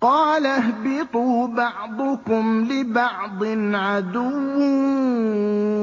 قَالَ اهْبِطُوا بَعْضُكُمْ لِبَعْضٍ عَدُوٌّ ۖ